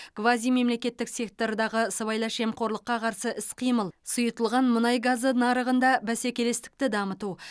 квазимемлекеттік сектордағы сыбайлас жемқорлыққа қарсы іс қимыл сұйытылған мұнай газы нарығында бәсекелестікті дамыту